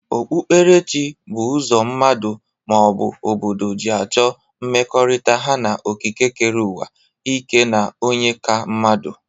Okpukperechi bụ ụzọ mmadu, ma ọ bụ obodo ji achọ mmekọrịta ha na ekekereuwa, ike na onye ka mmadu.